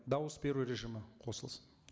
дауыс беру режимі қосылсын